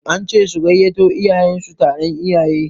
An ce su gayyato iyayen su taron iyaye